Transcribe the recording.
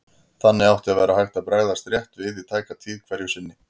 Þannig átti að vera hægt að bregðast rétt við í tæka tíð hverju sinni.